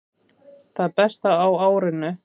Það besta á árinu